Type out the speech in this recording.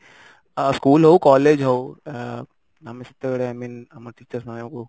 school ହଉ college ହଉ ଆଁ ଆମେ ସେତେବେଳେ i mean ଆମ teachers ମାନେ